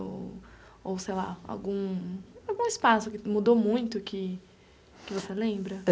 Ou ou, sei lá, algum algum espaço que mudou muito que que você lembra?